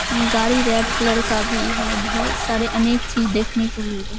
गाड़ी red colour का भी है बहुत सारी अनेक चीज देखने को मिल रही है।